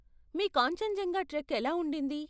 మీ Kanchenjunga trek ఎలా ఉండింది?